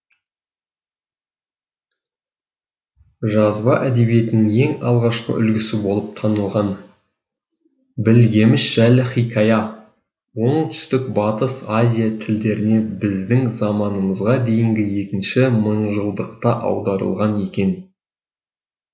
жазба әдебиетінің ең алғашқы үлгісі болып танылған білгеміш жайлы хикая оңтүстік батыс азия тілдеріне біздің заманымызға дейінгі екінші мыңжылдықта аударылған екен